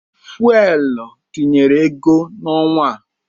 Fuwel tinyere ego n'ọnwa a.